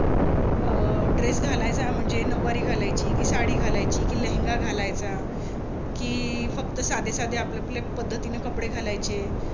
अं dress घालायचा म्हणजे नौवारी घालाची कि साडी घालायची कि लेहंगा घालायचा कि फक्त साधे साधे आपापल्या पद्धतीने कपडे घालायचे.